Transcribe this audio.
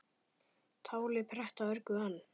Táli pretta örgu ann